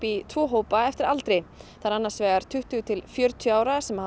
í tvo hópa eftir aldri það er annars vegar tuttugu til fjörutíu ára sem